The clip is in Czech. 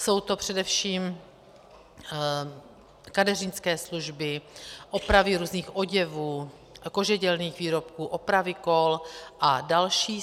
Jsou to především kadeřnické služby, opravy různých oděvů, kožedělných výrobků, opravy kol a další.